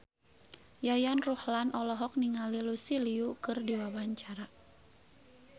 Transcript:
Yayan Ruhlan olohok ningali Lucy Liu keur diwawancara